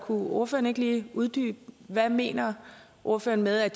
ordføreren ikke lige uddybe hvad mener ordføreren med at